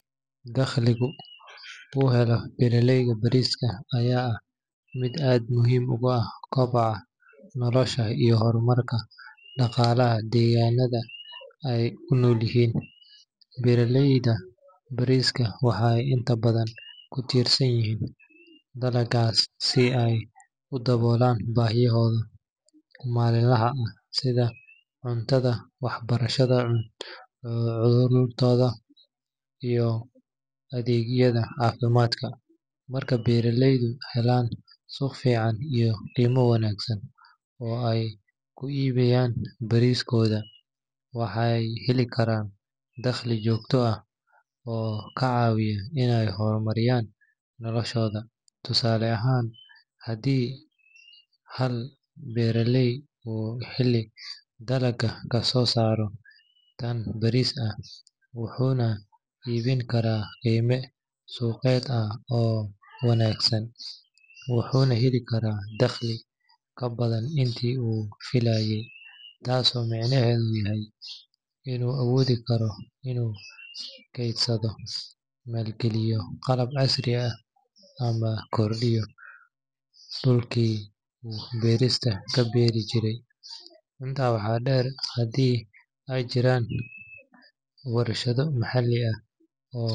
Dakhligu uu helo beeraleyda bariiska ayaa ah mid aad muhiim ugu ah koboca noloshooda iyo horumarka dhaqaalaha deegaannada ay ku noolyihiin. Beeraleyda bariiska waxay inta badan ku tiirsan yihiin dalaggaas si ay u daboolaan baahiyahooda maalinlaha ah sida cuntada, waxbarashada carruurtooda, iyo adeegyada caafimaadka. Marka beeraleydu helaan suuq fiican iyo qiimo wanaagsan oo ay ku iibiyaan bariiskooda, waxay heli karaan dakhli joogto ah oo ka caawiya inay horumariyaan noloshooda. Tusaale ahaan, haddii hal beeraley uu xilli dalagga kasoo saaro tan bariis ah, wuxuuna iibin karaa qiime suuqeed ah oo wanaagsan, wuxuu heli karaa dakhli ka badan intii uu filayay. Taasoo micnaheedu yahay inuu awoodi karo inuu kaydsado, maalgeliyo qalab casri ah ama kordhiyo dhulkii uu bariiska ka beeri jiray. Intaa waxaa dheer, haddii ay jiraan warshado maxalli ah oo.